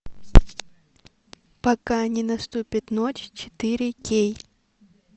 пока не наступит ночь четыре кей